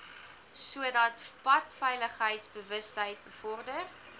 sodat padveiligheidsbewustheid bevorder